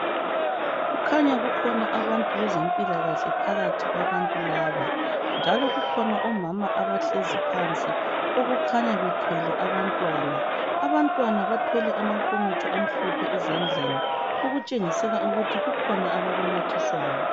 kukhanya kukhona abantu bezempilakahle phakathi kwabantu laba njalo kukhona omama abhlezi phansi okukhanya bethwele abantwana abantwana bathwele amnkomitsho amhlophe ezandleni okutshengisela ukuthi kukhona abakunathiswayo